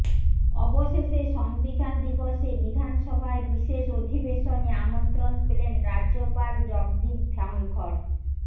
অবশেষে সংবিধান দিবসে বিধানসভার বিশেষ অধিবেশনে আমন্ত্রণ পেলেন রাজ্যপাল জগদীপ ধনখড়